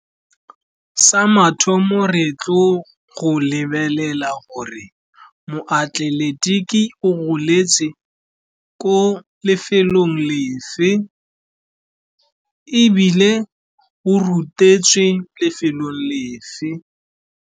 Sa mathomo re tlo go lebelela gore moatleletiki o goletse ko lefelong lefe, ebile o rutetswe lefelong lefe.